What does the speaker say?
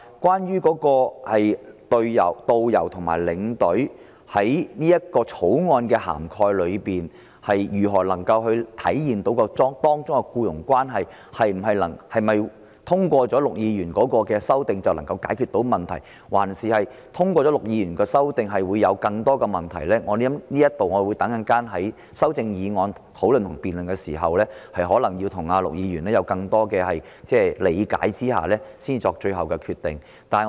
至於他另一項修正案，把旅行代理商與導遊和領隊之間的關係規定為僱傭關係，是否通過了陸議員的修正就能解決問題，還是通過他的修正後會有更多的問題，我稍後在修正案辯論時，可能要向陸議員了解更多，才會作最後決定。